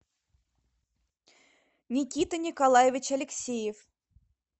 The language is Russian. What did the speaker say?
никита николаевич алексеев